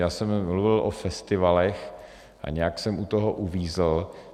Já jsem mluvil o festivalech a nějak jsem u toho uvízl.